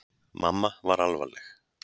Mamma var alvarleg.